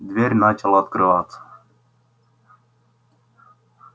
дверь начала открываться